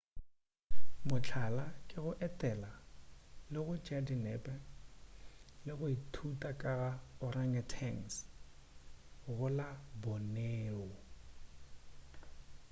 mohlala ke go etela go tšea dinepe le go ithuta ka ga organgautauangs go la borneo